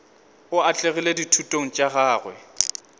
o atlegile dithutong tša gagwe